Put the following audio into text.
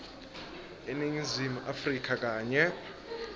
eningizimu afrika kanye